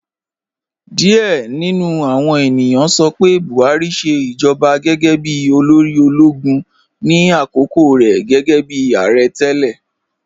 Diẹ̀ ni nú àwọn ènìyàn sọ pé Buhari ṣẹ ijọba gẹ́gẹ́ bí olóri ologun ni akókò rẹ gẹ́gẹ́bi aarẹ̀ tẹlẹ.